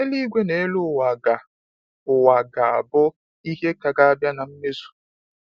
Eluigwe n'elu ụwa ga ụwa ga abụ ihe ka ga abịa na mmezu